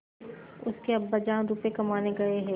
उसके अब्बाजान रुपये कमाने गए हैं